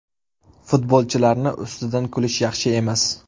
Futbolchilarni ustidan kulish yaxshi emas.